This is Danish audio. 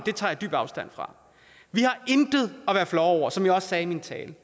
jeg tager dybt afstand fra vi har intet at være flove over som jeg også sagde i min tale